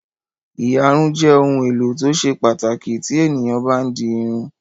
Ìyarun jẹ́ ohun-èlò tó ṣe pàtàkì tí ènìyàn bá ń di irun.